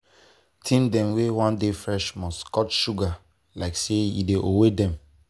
teen dem wey wan dey fresh must cut that sugar like say e owe dem.